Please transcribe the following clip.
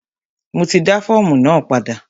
Mo ti dá fọ́ọ̀mù náà padà.